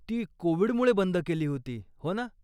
ती कोविडमुळे बंद केली होती, हो ना?